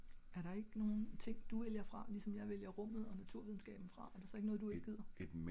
er der ikke nogen ting du vælger fra ligesom jeg vælger rummet og naturvidenskaben fra? er det så ik noget du ik gider?